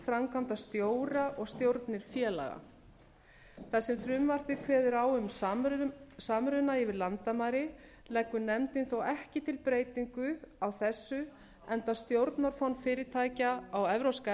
framkvæmdastjóra og stjórnir félaga þar sem frumvarpið kveður á um samruna yfir landamæri leggur nefndin þó ekki til breytingu á þessu enda stjórnarform fyrirtækja á evrópska